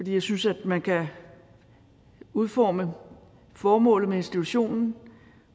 jeg synes at man kan udforme formålet med institutionen